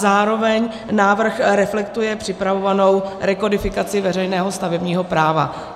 Zároveň návrh reflektuje připravovanou rekodifikaci veřejného stavebního práva.